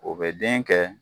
O bɛ den kɛ